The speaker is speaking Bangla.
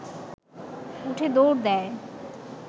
উঠে দৌড় দেয়